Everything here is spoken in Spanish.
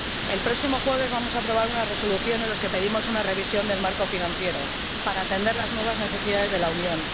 El próximo jueves vamos a aprobar una resolución en la que pedimos una revisión del marco financiero para atender las nuevas necesidades de la Unión.